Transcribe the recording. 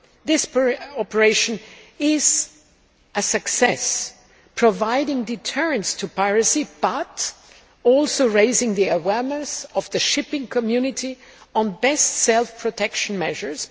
This operation is a success, providing deterrence to piracy but also raising the awareness of the shipping community on best self protection measures.